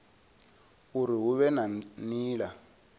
uri hu vhe na nila